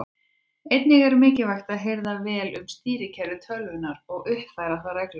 Einnig er mikilvægt að hirða vel um stýrikerfi tölvunnar og uppfæra það reglulega.